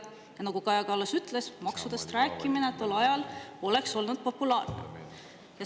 Ja nagu Kaja Kallas ütles, maksudest rääkimine tol ajal poleks olnud populaarne.